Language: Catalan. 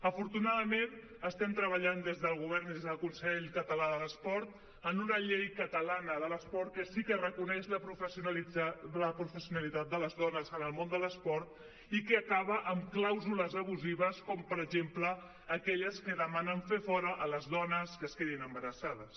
afortunadament estem treballant des del govern i des del consell català de l’esport en una llei catalana de l’esport que sí que reconeix la professionalitat de les dones en el món de l’esport i que acaba amb clàusules abusives com per exemple aquelles que demanen fer fora les dones que es quedin embarassades